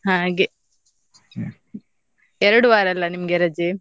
ಹಾಗೆ, ಎರಡು ವಾರ ಅಲ್ಲ ನಿಮ್ಗೆ ರಜೆ?